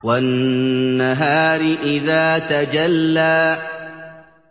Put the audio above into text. وَالنَّهَارِ إِذَا تَجَلَّىٰ